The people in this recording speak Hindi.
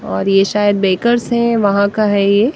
और यह शायद बेकर्स हैं वहां का है यह।